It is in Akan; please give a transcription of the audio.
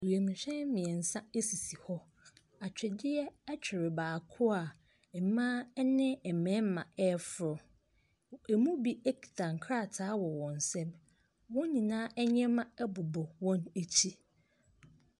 Wiemhyɛn mmiɛnsa sisi hɔ, atwedeɛ twere baako a mmaa ne mmarima ɛreforo. Ɛmu bi kitɛ nkrataa wɔ wɔn nsam. Wɔn nyinaa nneɛma bobɔ wɔn akyi.